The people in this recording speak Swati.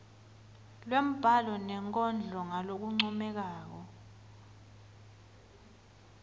lwembhalo nenkondlo ngalokuncomekako